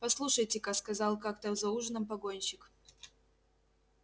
послушайте ка сказал как-то за ужином погонщик